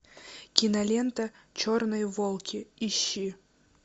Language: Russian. кинолента черные волки ищи